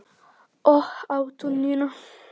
Og á túninu.